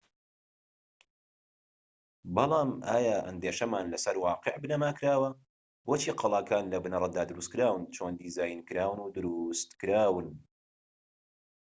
بەڵام ئایا ئەندێشەمان لەسەر واقیع بنەما کراوە بۆچی قەڵاکان لە بنەرەتدا دروستکراون چۆن دیزاینکراون و دروستکراون